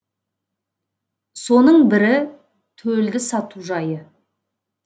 соның бірі төлді сату жайы